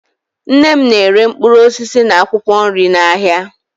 Nne m na-ere mkpụrụ osisi na akwụkwọ nri n'ahịa